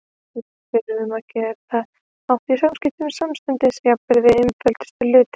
Við þurftum að geta átt í samskiptum samstundis, jafnvel um einföldustu hluti.